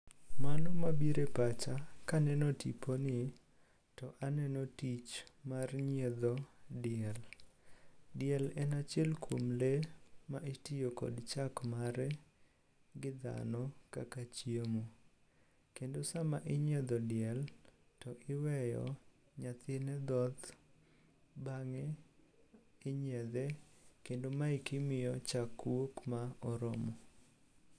Mano mabiro e pacha kaneno tiponi to aneno tich mar nyiedho diel. Diel en achiel kuom lee ma itiyo kod chak mare gi dhano kaka chiemo. Kendo sama inyiedho diel to iweyo nyathine dhoth, bang'e inyiedhe kendo maeki miyo chak wuok ma oromo.